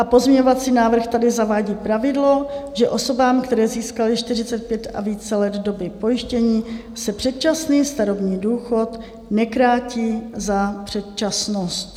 A pozměňovací návrh tady zavádí pravidlo, že osobám, které získaly 45 a více let doby pojištění, se předčasný starobní důchod nekrátí za předčasnost.